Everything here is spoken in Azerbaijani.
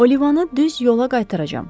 Olivanı düz yola qaytaracam.